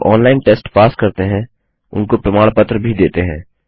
जो online test pass करते हैं उनको प्रमाण पत्र भी देते हैं